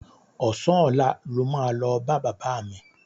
Ọ̀sán ọ̀la lo máa lọ bá bàbá mi.